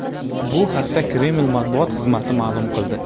Bu haqda Kreml matbuot xizmati ma’lum qildi .